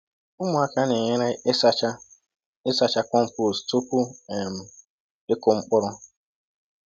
Ụmụaka na-enyere ịsacha ịsacha compost tupu um ịkụ mkpụrụ.